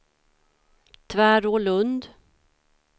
Tvärålund